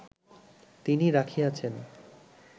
তিনি রাখিয়াছেন